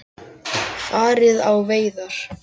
Farið á veiðar.